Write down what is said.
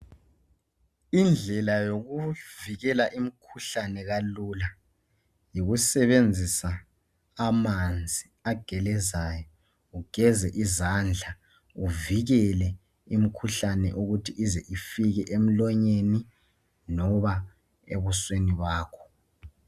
Indlela yokuvikela imikhuhlane kalula yikusebenzisa amanzi agelezayo. Ugeze izandla uvikele imikhuhlane ukuthi ize ifike emlonyeni loba ebusweni bakho.